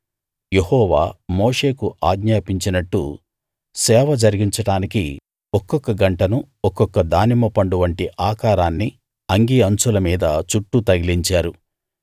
యెహోవా మోషేకు ఆజ్ఞాపించినట్టు సేవ జరిగించడానికి ఒక్కొక్క గంటను ఒక్కొక్క దానిమ్మ పండు వంటి ఆకారాన్ని అంగీ అంచుల మీద చుట్టూ తగిలించారు